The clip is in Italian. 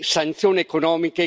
Se non ora, quando?